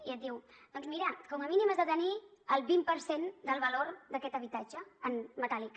i et diu doncs mira com a mínim has de tenir el vint per cent del valor d’aquest habitatge en metàl·lic